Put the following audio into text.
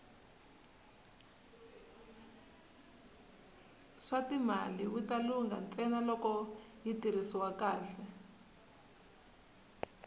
swatimali wita lungha ntsena loko yi tirhisiwa kahle